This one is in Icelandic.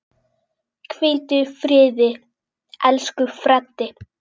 Hvíldu í friði, elsku Freddi.